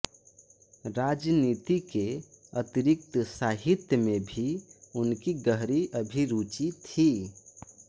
राजनीति के अतिरिक्त साहित्य में भी उनकी गहरी अभिरुचि थी